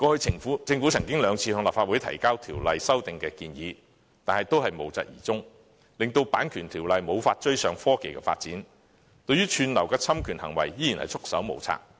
政府過去曾兩次向立法會提交條例修訂建議，但最後也無疾而終，令《版權條例》無法追上科技發展，對於串流的侵權行為仍然束手無策。